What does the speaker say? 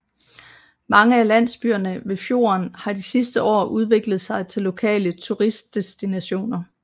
Mange af landsbyerne ved fjorden har de sidste år udviklet sig til lokale turistdestinationer